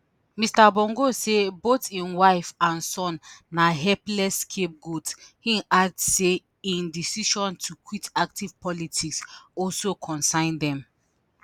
mr bongo say both im wife and son na "helpless scapegoats" im add say im decision to quit active politics also concern dem.